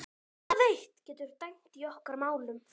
Það eitt getur dæmt í okkar málum.